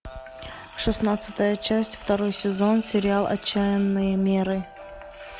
шестнадцатая часть второй сезон сериал отчаянные меры